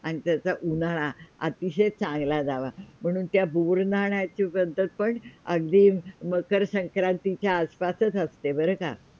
आणि त्याचा उन्हाळा अतीशय चांगला जावा म्हणून त्या बोर नाहण्याची पद्धत पण अगदी मकर संक्रांतीच्या आस -पासच असते बरं का.